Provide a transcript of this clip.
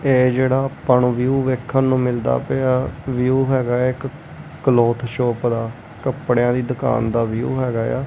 ਇਹ ਜਿਹੜਾ ਆਪਾਂ ਨੂੰ ਵਿਊ ਵੇਖਣ ਨੂੰ ਮਿਲਦਾ ਪਿਆ ਵਿਊ ਹੈਗਾ ਇਕ ਕਲੋਥ ਸ਼ੋਪ ਦਾ ਕੱਪੜਿਆਂ ਦੀ ਦੁਕਾਨ ਦਾ ਵਿਊ ਹੈਗਾ ਆ।